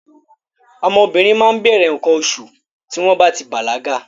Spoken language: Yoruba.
Ọmọ obìnrin máa ń bẹ̀rẹ̀ nǹkan oṣù tí wọ́n bá ti bàlágà.